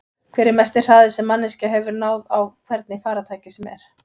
Hver er mesti hraði sem manneskja hefur náð á hvernig farartæki sem er?